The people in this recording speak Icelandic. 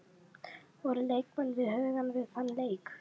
Voru leikmenn við hugann við þann leik?